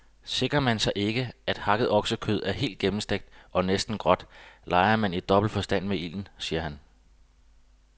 Sikrer man sig ikke, at hakket oksekød er helt gennemstegt og næsten gråt, leger man i dobbelt forstand med ilden, siger han.